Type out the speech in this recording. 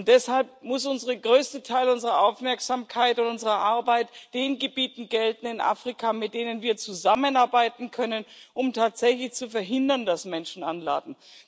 Und deshalb muss der größte Teil unserer Aufmerksamkeit und unserer Arbeit den Gebieten in Afrika gelten, mit denen wir zusammenarbeiten können, um tatsächlich zu verhindern, dass Menschen anlanden.